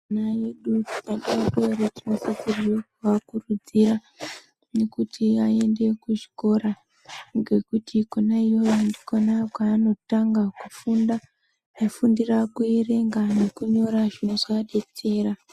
Vana vedu sevabereki tinosisa kuvakuridzira kuti vaende kuzvikora ngekuti khona iyoyo ndokwavano tanga kufunda kufungira kuerenga ne kunyora zvinovadetsera.